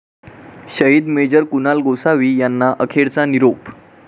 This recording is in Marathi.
शहीद मेजर कुणाल गोसावी यांना अखेरचा निरोप